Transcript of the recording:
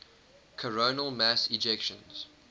coronal mass ejections